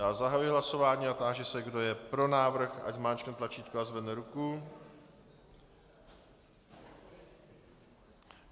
Já zahajuji hlasování a táži se, kdo je pro návrh, ať zmáčkne tlačítko a zvedne ruku.